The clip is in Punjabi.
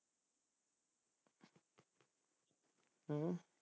ਹਮ